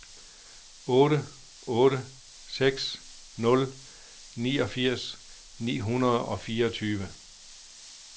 otte otte seks nul niogfirs ni hundrede og fireogtyve